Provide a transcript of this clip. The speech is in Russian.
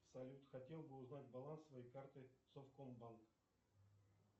салют хотел бы узнать баланс своей карты совком банк